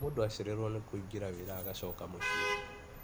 Mũndũ acererwo nĩ kũingĩ wĩra agacoka mũciĩ.